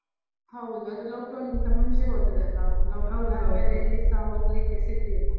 ಹೌದು, ಅದು lockdown ಗಿಂತ ಮುಂಚೆ ಹೋದದ್ದಲ್ಲ, ಆದ್ಮೇಲೆ ಎಲ್ಲೀಸ ಹೋಗ್ಲಿಕ್ಕೆ ಸಿಗ್ಲಿಲ್ಲ.